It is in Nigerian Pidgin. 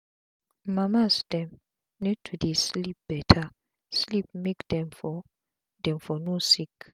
mama's dem need to dey sleep beta sleep make dem for dem for no sick